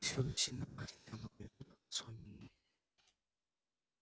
всюду сильно пахнет яблоками тут особенно